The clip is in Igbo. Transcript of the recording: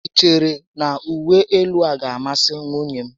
I chere na uwe élú a gá a masị nwunye m?